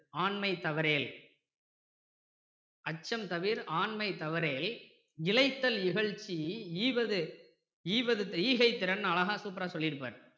ஆண்மை தவறேல் அச்சம் தவறேல் இளைத்தல் இகழ்ச்சி ஈவது ஈகை திறன்னு அழகா super ரா சொல்லி இருப்பாரு